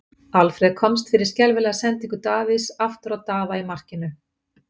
Alfreð komst fyrir skelfilega sendingu Davíðs aftur á Daða í markinu.